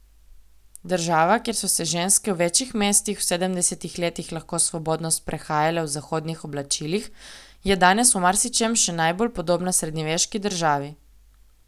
Država, kjer so se ženske v večjih mestih v sedemdesetih letih lahko svobodno sprehajale v zahodnih oblačilih, je danes v marsičem še najbolj podobna srednjeveški državi.